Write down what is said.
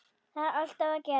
Þar er allt að gerast.